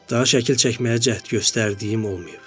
Daha şəkil çəkməyə cəhd göstərdiyim olmayıb.